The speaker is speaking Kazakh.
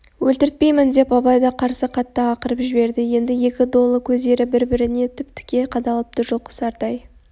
өлтіртпеймін деп абай да қарсы қатты ақырып жіберді енді екі долы көздері бір-біріне тіп-тіке қадалыпты жұлқысардай